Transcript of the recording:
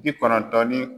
Bi kɔnɔntɔn ni